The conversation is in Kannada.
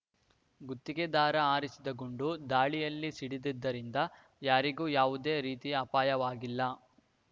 ಗುತ್ತಿಗೆದಾರ ಹಾರಿಸಿದ ಗುಂಡು ಗಾಳಿಯಲ್ಲಿ ಸಿಡಿದಿದ್ದರಿಂದ ಯಾರಿಗೂ ಯಾವುದೇ ರೀತಿಯ ಅಪಾಯವಾಗಿಲ್ಲ